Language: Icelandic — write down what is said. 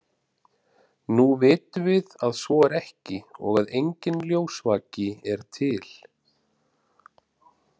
Nú vitum við að svo er ekki og að enginn ljósvaki er til.